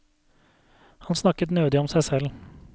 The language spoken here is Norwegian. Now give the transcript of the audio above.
Han snakket nødig om seg selv.